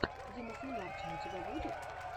дима солярчин у тебя будет